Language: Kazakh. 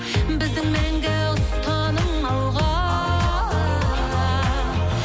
біздің мәңгі ұстаным алға